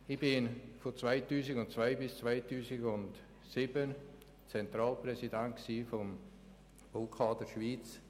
Ich war von 2002 bis 2007 Zentralpräsident des Baukaders Schweiz.